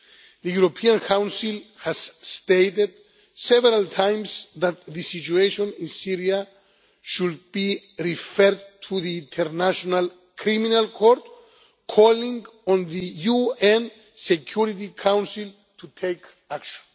The European Council has stated several times that the situation in Syria should be referred to the International Criminal Court, calling on the UN Security Council to take action.